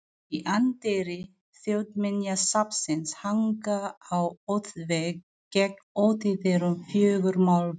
Í anddyri Þjóðminjasafnsins hanga á útvegg gegnt útidyrum fjögur málverk.